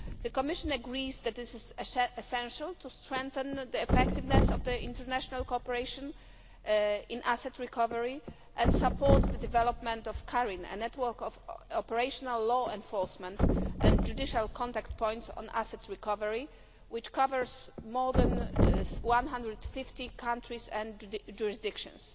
The Commission agrees that this is essential to strengthen the effectiveness of international cooperation in asset recovery and supports the development of CARIN, a network of operational law enforcement and judicial contact points on asset recovery, which covers more than 150 countries and jurisdictions.